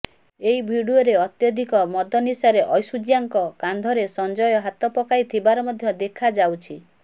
ଏହି ଭିଡିଓରେ ଅତ୍ୟଧିକ ମଦନିଶାରେ ଐଶ୍ୱର୍ଯ୍ୟାଙ୍କ କାନ୍ଧରେ ସଞ୍ଜୟ ହାତ ପକାଇଥିବାର ମଧ୍ୟ ଦେଖାଯାଉଛି